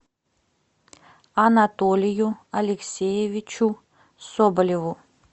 анатолию алексеевичу соболеву